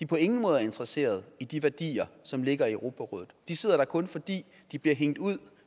på ingen måde er interesseret i de værdier som ligger i europarådet de sidder der kun fordi de bliver hængt ud og